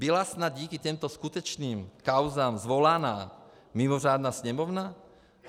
Byla snad díky těmto skutečným kauzám svolaná mimořádná Sněmovna?